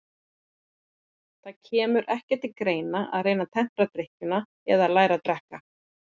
Það kemur ekki til greina að reyna að tempra drykkjuna eða læra að drekka.